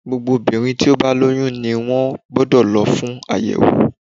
Gbogbo obìnrin tí ó bá lóyún ni wọ́n gbódò lo fún àyèwò